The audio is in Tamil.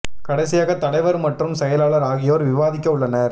கடைசியாக தலைவர் மற்றும் செயலாளர் ஆகி யோர் விவாதிக்க உள்ளனர்